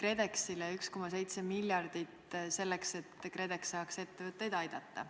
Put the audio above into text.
KredExile 1,7 miljardit, selleks et KredEx saaks ettevõtteid aidata.